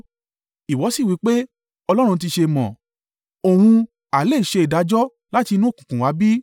Ìwọ sì wí pé, Ọlọ́run ti ṣe mọ̀? Òun ha lè ṣe ìdájọ́ láti inú òkùnkùn wá bí?